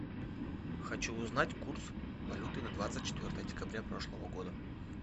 хочу узнать курс валюты на двадцать четвертое декабря прошлого года